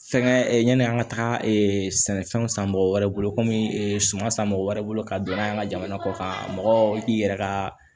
Fɛngɛ yani an ka taga sɛnɛfɛnw san mɔgɔ wɛrɛ bolo komi suman san mɔgɔ wɛrɛ bolo ka don n'a an ka jamana kɔ kan mɔgɔ k'i yɛrɛ ka